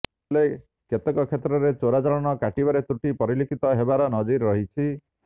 ହେଲେ କେତେକ କ୍ଷେତ୍ରରେ ଚାଲାଣ କାଟିବାରେ ତ୍ରୁଟି ପରିଲକ୍ଷିତ ହେବାର ନଜିର ରହିଛି